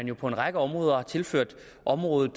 jo på en række områder er blevet tilført området